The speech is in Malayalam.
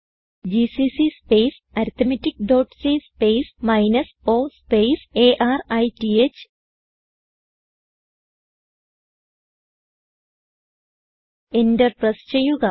GCC space arithmetic dot c space minus o space arith enter press ചെയ്യുക